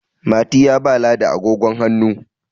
Mati ya ba ladi agogon hannu